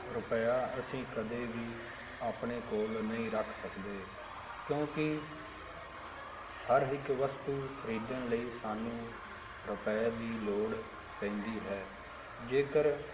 ਰੁਪਇਆ ਅਸੀਂ ਕਦੇ ਵੀ ਆਪਣੇ ਕੋਲ ਨਹੀਂ ਰੱਖ ਸਕਦੇ ਕਿਉਂਕਿ ਹਰ ਇੱਕ ਵਸਤੂ ਖ਼ਰੀਦਣ ਲਈ ਸਾਨੂੰ ਰੁਪਏ ਦੀ ਲੋੜ ਪੈਂਦੀ ਹੈ, ਜੇਕਰ